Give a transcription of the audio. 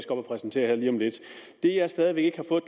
præsentere her lige om lidt det jeg stadig væk ikke har fået